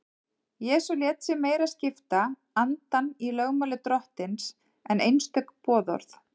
Jesús lét sig meira skipta andann í lögmáli Drottins en einstök boðorð.